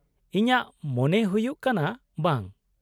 - ᱤᱧᱟᱹᱜ ᱢᱚᱱᱮ ᱦᱩᱭᱩᱜ ᱠᱟᱱᱟ ᱵᱟᱝ ᱾